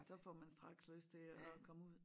Så får man straks lyst til at komme ud